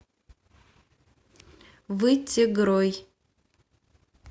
вытегрой